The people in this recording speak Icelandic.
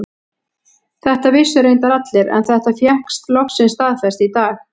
Þetta vissu reyndar allir en þetta fékkst loksins staðfest í dag.